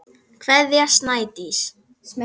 Kveðja, Snædís.